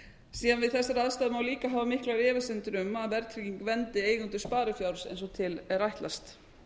síðan við þessar aðstæður má líka hafa miklar efasemdir um að verðtrygging verndi eigendur sparifjár eins og til er ætlast